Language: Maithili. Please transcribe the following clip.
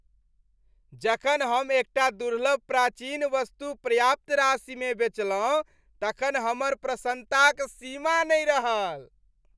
जखन हम एकटा दुर्लभ प्राचीन वस्तु पर्याप्त राशिमे बेचलहुँ तखन हमर प्रसन्नताक सीमा नहि रहल।